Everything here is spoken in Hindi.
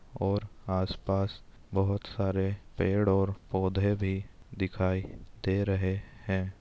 और आस-पास बहुत सारे पेड़ और पौधे भी दिखाई दे रहे हैं।